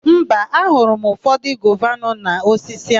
Mba, aghọrọ m ụfọdụ gova nọ n'osisi áhụ̀.